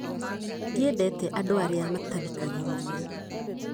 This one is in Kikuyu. Ndiendete andũ arĩa matathikagĩrĩria